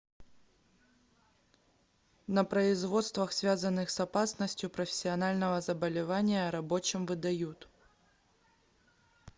на производствах связанных с опасностью профессионального заболевания рабочим выдают